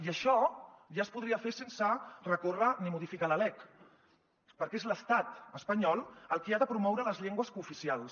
i això ja es podria fer sense recórrer ni modificar la lec perquè és l’estat espanyol el qui ha de promoure les llengües cooficials